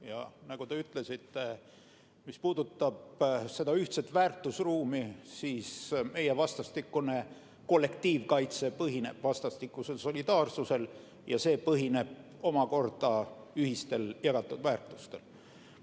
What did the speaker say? Ja nagu te ütlesite, mis puudutab seda ühtset väärtusruumi, siis meie vastastikune kollektiivkaitse põhineb vastastikusel solidaarsusel ja see omakorda põhineb ühistel jagatud väärtustel.